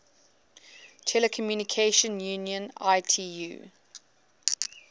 telecommunication union itu